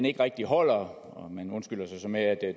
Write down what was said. ikke rigtig holder man undskylder sig så med at